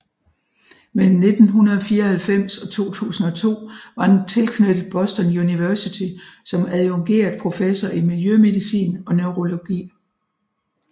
Mellem 1994 og 2002 var han tilknyttet Boston University som adjungeret professor i miljømedicin og neurologi